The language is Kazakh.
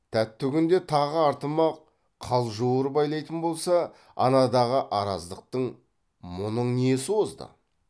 тәтті күнде тағы артыма қалжуыр байлайтын болса анадағы араздықтың мұның несі озды